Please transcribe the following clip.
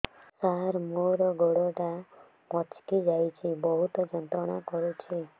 ସାର ମୋର ଗୋଡ ଟା ମଛକି ଯାଇଛି ବହୁତ ଯନ୍ତ୍ରଣା କରୁଛି